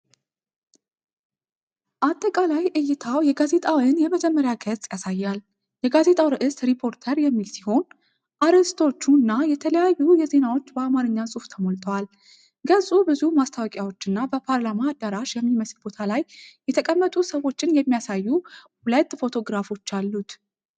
አጠቃላይ እይታው የጋዜጣውን የመጀመሪያ ገጽ ያሳያል። የጋዜጣው ርዕስ "ሪፖርተር" የሚል ሲሆን አርዕስቶች እና የተለያዩ ዜናዎች በአማርኛ ጽሑፍ ተሞልተዋል። ገጹ ብዙ ማስታወቂያዎችና በፓርላማ አዳራሽ የሚመስል ቦታ ላይ የተቀመጡ ሰዎችን የሚያሳዩ ሁለት ፎቶግራፎች አሉት።